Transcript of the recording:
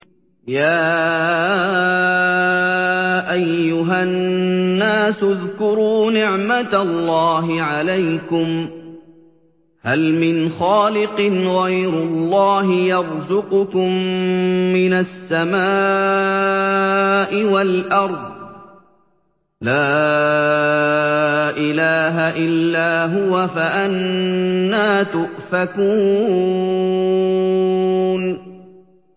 يَا أَيُّهَا النَّاسُ اذْكُرُوا نِعْمَتَ اللَّهِ عَلَيْكُمْ ۚ هَلْ مِنْ خَالِقٍ غَيْرُ اللَّهِ يَرْزُقُكُم مِّنَ السَّمَاءِ وَالْأَرْضِ ۚ لَا إِلَٰهَ إِلَّا هُوَ ۖ فَأَنَّىٰ تُؤْفَكُونَ